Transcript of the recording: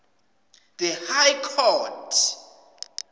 the high court